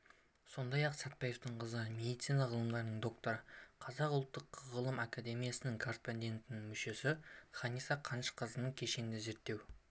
сондай-ақ сәтпаевтың қызы медицина ғылымдарының докторы қазақ ұлттық ғылым академиясының корреспондент-мүшесі ханиса қанышқызының кешенді зерттеу